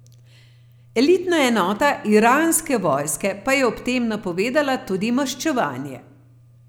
Elitna enota iranske vojske pa je ob tem napovedala tudi maščevanje.